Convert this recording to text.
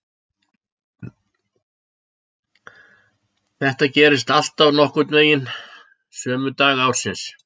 Þetta gerist alltaf nokkurn veginn sömu daga ársins.